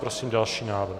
Prosím další návrh.